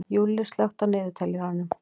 Júlli, slökktu á niðurteljaranum.